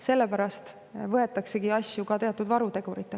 Sellepärast võetaksegi teatud varutegureid.